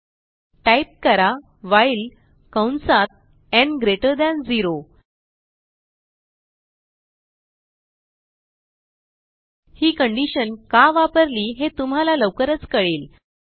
type करा while कंसात न् ग्रेटर थान 0 ही कंडिशन का वापरली हे तुम्हाला लवकरच कळेल